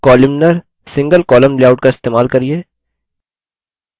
columnar singlecolumn layout का इस्तेमाल करिये